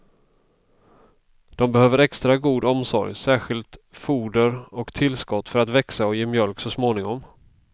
De behöver extra god omsorg, särskilt foder och tillskott för att växa och ge mjölk så småningom.